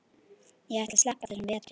Ég ætla að sleppa þessum vetri.